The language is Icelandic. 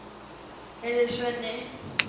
Heyrðu, Svenni.